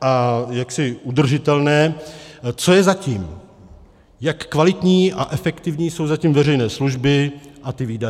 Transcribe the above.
a jaksi udržitelné, co je za tím, jak kvalitní a efektivní jsou zatím veřejné služby a ty výdaje.